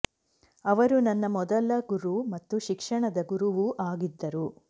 ಅವರು ನನ್ನ ಮೊದಲ ಗುರು ಮತ್ತು ಶಿಕ್ಷಣದ ಗುರುವೂ ಆಗಿದ್ದರು